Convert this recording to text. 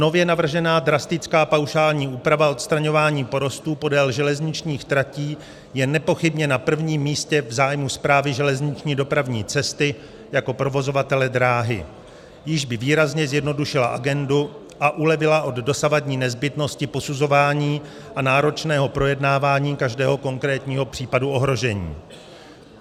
Nově navržená drastická paušální úprava odstraňování porostů podél železničních tratí je nepochybně na prvním místě v zájmu Správy železniční dopravní cesty jako provozovatele dráhy, jíž by výrazně zjednodušila agendu a ulevila od dosavadní nezbytnosti posuzování a náročného projednávání každého konkrétního případu ohrožení.